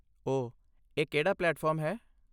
ਓਹ, ਇਹ ਕਿਹੜਾ ਪਲੇਟਫਾਰਮ ਹੈ?